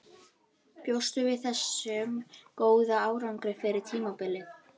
Bjóstu við þessum góða árangri fyrir tímabilið?